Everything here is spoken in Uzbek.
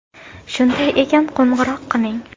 Shunday ekan, qo‘ng‘iroq qiling.